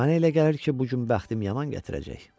Mənə elə gəlir ki, bu gün bəxtim yaman gətirəcək.